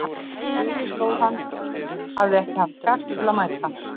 Daginn eftir stóð að hann hefði ekki haft kjark til að mæta.